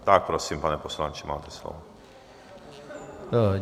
Tak prosím, pane poslanče, máte slovo.